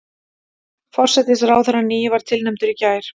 Forsætisráðherrann nýi var tilnefndur í gær